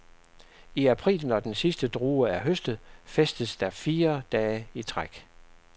I april, når den sidste drue er høstet, festes der fire dage i træk.